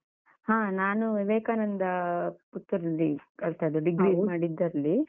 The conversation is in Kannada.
ಹ ನಾನು Vivekananda Puttur ರಲ್ಲಿ ಕಲ್ತದ್ದು, degree ಮಾಡಿದ್ದು ಅಲ್ಲಿ.